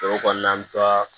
Foro kɔnɔna an be taa